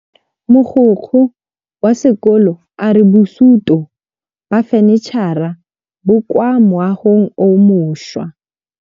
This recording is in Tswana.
Mogokgo wa sekolo a re bosutô ba fanitšhara bo kwa moagong o mošwa.